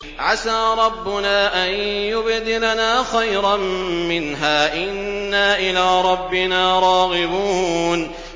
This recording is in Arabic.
عَسَىٰ رَبُّنَا أَن يُبْدِلَنَا خَيْرًا مِّنْهَا إِنَّا إِلَىٰ رَبِّنَا رَاغِبُونَ